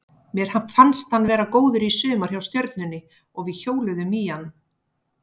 Mér fannst hann vera góður í sumar hjá Stjörnunni og við hjóluðum í hann.